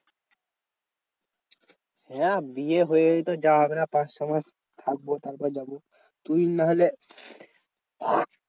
হ্যাঁ বিয়ে হয়েই তো যাওয়া হবে না। পাঁচ ছ মাস থাকবো তারপর যাবো। তুই না হলে